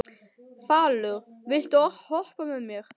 Falur, viltu hoppa með mér?